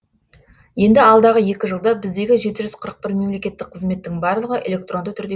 енді алдағы екі жылда біздегі жеті жүз қырық бір мемлекеттік қызметтің барлығы электронды түрде